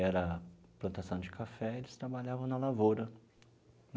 era plantação de café, eles trabalhavam na lavoura.